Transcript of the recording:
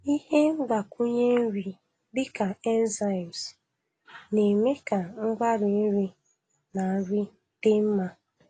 Ihe mgbakwunye nri dịka enzymes na-eme ka mgbari nri na nri dị mma.